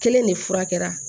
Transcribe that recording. Kelen de fura kɛra